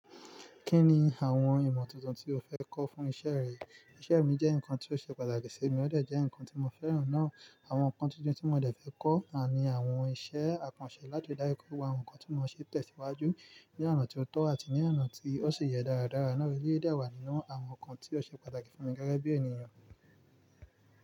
Kí ni àwọn ìmọ̀ tuntun tí o fẹ́ kọ́ fún iṣẹ́ rẹ? Iṣẹ́ mi jẹ́ nǹkan tí ó ṣe pàtàkì sí mi, ó dé jẹ́ nǹkan tí mo fẹ́ràn náà. Àwọn nǹkan tuntun tí mo dẹ̀ fẹ́ kọ́ ni àwọn iṣẹ́ àkànṣe láti dáńju àwọn nǹkan tí ó máa ṣe tẹ̀síwájú ní àná tí ó tọ́ àti ní àná tí ó sì yẹ dáradára. Bẹ́ẹ̀ dá wà nínú àwọn nǹkan tí ó ṣe pàtàkì fún mi gẹ́gẹ́ bí ènìyàn.